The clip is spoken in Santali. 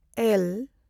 ᱮᱹᱞ